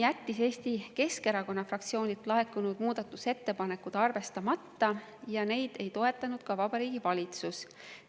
Eesti Keskerakonna fraktsioonilt laekunud muudatusettepanekud jättis rahanduskomisjon arvestamata ja neid ei toetanud ka Vabariigi Valitsus.